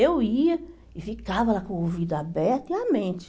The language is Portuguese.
Eu ia e ficava lá com o ouvido aberto e a mente.